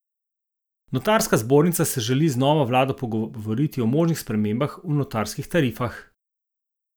Notarska zbornica se želi z novo vlado pogovoriti o možnih spremembah pri notarskih tarifah.